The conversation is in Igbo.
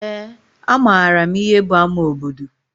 Eé, amaara m ihe bụ ama obodo.